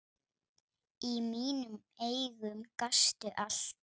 Í mínum augum gastu allt.